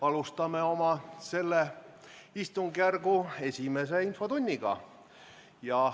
Alustame selle istungjärgu esimest infotundi.